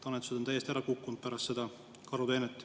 Annetused on täiesti ära kukkunud pärast seda karuteenet.